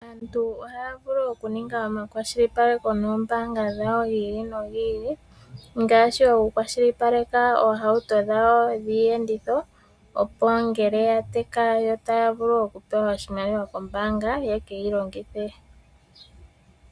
Aantu ohaya vulu okuninga omakwashilipaleko no oombanga dhawo dhi ili nodhi ili ngaashi oku kwashilipaleka oohauto dhawo dhiiyenditho opo ngele ya teka yo taya vulu okupewa oshimaliwa kombanga ye keyi longithe.